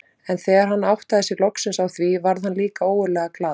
En þegar hann áttaði sig loksins á því varð hann líka ógurlega glaður.